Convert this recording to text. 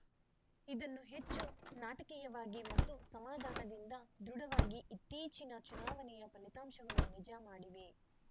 ಇದನ್ನು ಹೆಚ್ಚು ನಾಟಕೀಯವಾಗಿ ಮತ್ತು ಸಮಾಧಾನದಿಂದ ದೃಢವಾಗಿ ಇತ್ತೀಚಿನ ಚುನಾವಣೆಯ ಫಲಿತಾಂಶಗಳು ನಿಜ ಮಾಡಿವೆ